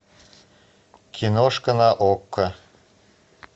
киношка на окко